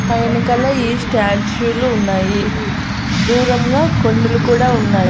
పై యనకాల ఈ స్టేట్యూ లు ఉన్నాయి దూరంగా కొండలు కూడా ఉన్నాయి.